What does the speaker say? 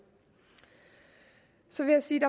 så vil jeg sige at